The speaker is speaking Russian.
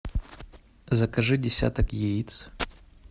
закажи десяток яиц